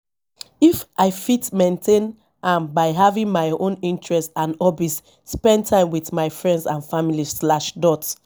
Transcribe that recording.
if i fit maintain am by having my own interests and hobbies spend time with my friends and family slash dot